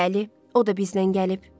Bəli, o da bizlə gəlib.